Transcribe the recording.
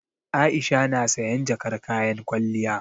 Aisha na sayan jakar kayan kwalliya.